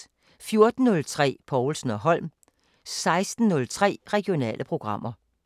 14:03: Povlsen & Holm 16:03: Regionale programmer